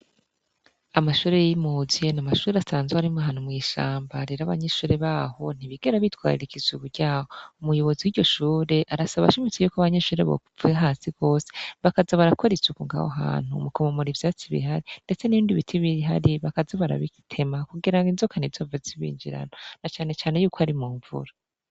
Amashuri y'imuzi n’amashuri asanzwa arimwo ahantu mw'ishambarira rero abanyenshure baho ntibigera bitwararika isuku ryaho umuyobozi w'iryoshure arasaba ashimitsi yuko abanyenshure bokuvira hasi rwose bakaza barakore isuku ngaho hantu mukomomora ivyatsi ibihari, ndetse n'ibindi biti bihari bakaza bakabitema kugira ngo inzoka ntizihave zibinjirana na canecane yuko ari mu mvura.